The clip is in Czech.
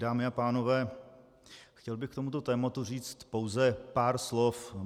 Dámy a pánové, chtěl bych k tomuto tématu říci pouze pár slov.